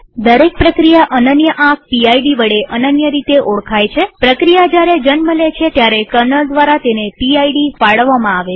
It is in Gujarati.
દરેક પ્રક્રિયા અનન્ય આંક પીડ વડે અનન્ય રીતે ઓળખાય છેપ્રક્રિયા જયારે જન્મ લે છે ત્યારે કર્નલ દ્વારા તેને પીડ ફાળવવામાં આવે છે